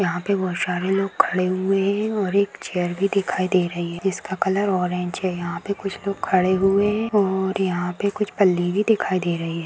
यहां पे बहुत सारे लोग खड़े भी हुए हैं और एक चेयर भी है जिसका कलर ऑरेंज है यहां पे कुछ लोग खड़े हुए हैं और यहां पे कुछ पल्ली भी दिखाई दे रही हैं।